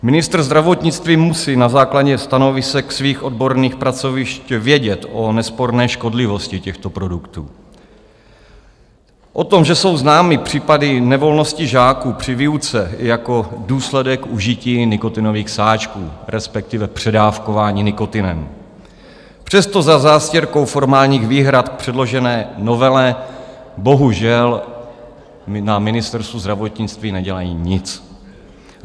Ministr zdravotnictví musí na základě stanovisek svých odborných pracovišť vědět o nesporné škodlivosti těchto produktů, o tom, že jsou známy případy nevolnosti žáků při výuce jako důsledek užití nikotinových sáčků, respektive předávkování nikotinem, přesto za zástěrkou formálních výhrad k předložené novele bohužel na Ministerstvu zdravotnictví nedělají nic.